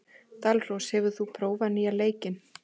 Dalrós, hefur þú prófað nýja leikinn?